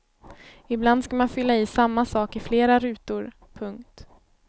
Ibland ska man fylla i samma sak i flera rutor. punkt